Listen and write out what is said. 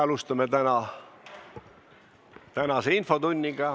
Alustame tänast infotundi.